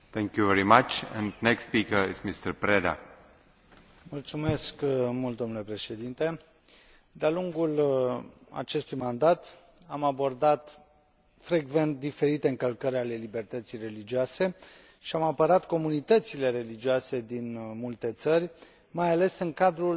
Domnule președinte, de a lungul acestui mandat am abordat frecvent diferite încălcări ale libertății religioase și am apărat comunitățile religioase din multe țări, mai ales în cadrul rezoluțiilor noastre de urgență, pe care le dezbatem în fiecare joi după amiază.